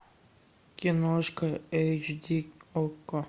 киношка эйч ди окко